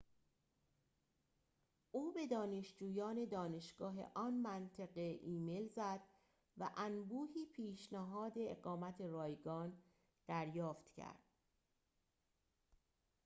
او به دانشجویان دانشگاه آن منطقه ایمیل زد و انبوهی پیشنهاد اقامت رایگان دریافت کرد